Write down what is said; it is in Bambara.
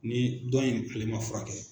Ni dɔn in ale ma furakɛ